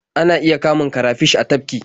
Ana iya kamun karafish a tafki.